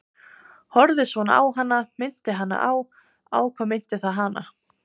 Horfði svona á hana, minnti hana á- á hvað minnti það hana?